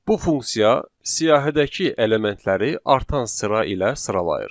Bu funksiya siyahıdakı elementləri artan sıra ilə sıralayır.